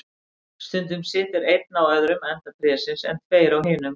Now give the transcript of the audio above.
Stundum situr einn á öðrum enda trésins, en tveir á hinum.